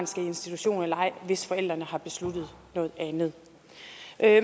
skal i institution eller ej hvis forældrene har besluttet noget andet